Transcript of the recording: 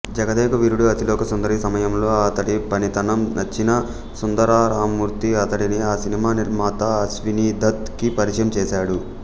జగదేకవీరుడు అతిలోకసుందరి సమయంలో అతడి పనితనం నచ్చిన సుందరరామ్మూర్తి అతడిని ఆ సినిమా నిర్మాత అశ్వినీదత్ కి పరిచయం చేశాడు